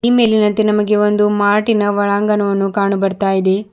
ಈ ಮೇಲಿನಂತೆ ನಮಗೆ ಒಂದು ಮಾರ್ಟಿ ನ ಒಳಾಂಗಣವನ್ನು ಕಾಣು ಬರ್ತಾ ಇದೆ.